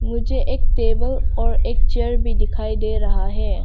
मुझे एक टेबल और एक चेयर भी दिखाई दे रहा है।